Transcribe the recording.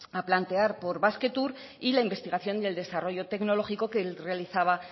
a plantear por basquetour y la investigación y el desarrollo tecnológico que realizaba